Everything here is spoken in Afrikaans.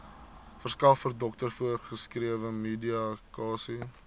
verskaffer dokter voorgeskrewemedikasie